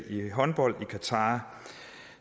i håndbold i qatar